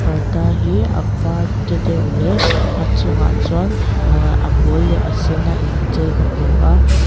parda hi a var de deuh leh a chungah chuan ahh a pawl leh a sen a inchei ka hmu a.